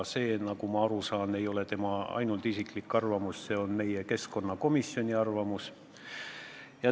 See, nagu ma aru saan, ei ole ainult tema isiklik arvamus, see on meie keskkonnakomisjoni arvamus.